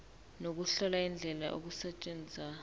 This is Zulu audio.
nokuhlola indlela okusetshenzwa